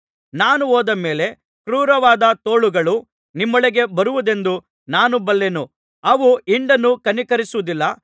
ನಾನು ಹೋದ ಮೇಲೆ ಕ್ರೂರವಾದ ತೋಳಗಳು ನಿಮ್ಮೊಳಗೆ ಬರುವುದೆಂದು ನಾನು ಬಲ್ಲೆನು ಅವು ಹಿಂಡನ್ನು ಕನಿಕರಿಸುವುದಿಲ್ಲ